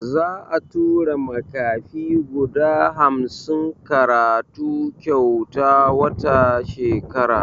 Za'a tura makafi guda hamsin karatu kyauta wata shekara.